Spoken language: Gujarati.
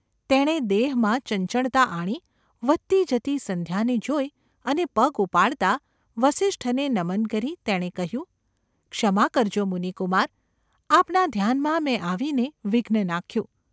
તેણે દેહમાં ચંચળતા આણી વધતી જતી સંધ્યાને જોઈ અને પગ ઉપાડતાં વસિષ્ઠને નમન કરી તેણે કહ્યું : ‘ક્ષમા કરજો, મુનિકુમાર ! આપના ધ્યાનમાં મેં આવીને વિઘ્ન નાખ્યું.